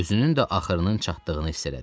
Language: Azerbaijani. Özünün də axırının çatdığını hiss etdi.